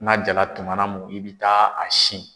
N'a jala tumana mun, i bɛ taa a sin.